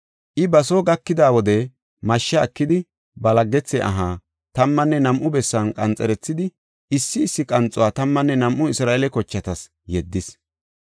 I ba soo gakida wode mashsha ekidi, ba laggethe aha tammanne nam7u bessan qanxerethidi, issi issi qanxuwa tammanne nam7u Isra7eele kochatas yeddis.